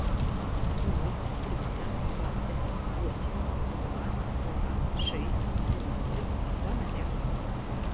ноль триста двадцать восемь два два шесть двенадцать два ноля